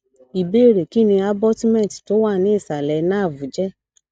ìbéèrè kí ni abutment tó wà ní ìsàlẹ nerve je